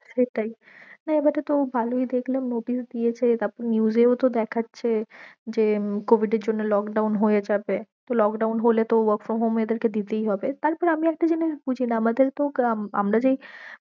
সেটাই না এবারে তো ভালো ই দেখলাম notice দিয়েছে তারপরে news এও তো দেখাচ্ছে যে covid এর জন্য lockdown হয়ে যাবে তো lockdown হলে তো work from home এদের কে দিতেই হবে তারপরে আমি একটা জিনিস বুঝি না আমাদের তো আমার যেই